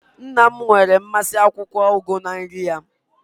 Nna'm nwere mmasị na akwukwo ugu na nri ya